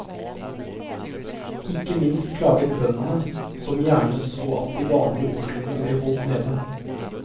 Ikke minst klaget bøndene, som gjerne så at de vanlige årslønnene ble holdt nede.